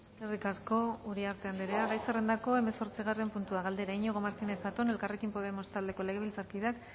eskerrik asko uriarte andrea gai zerrendako hemezortzigarren puntua galdera iñigo martínez zatón elkarrekin podemos taldeko legebiltzarkideak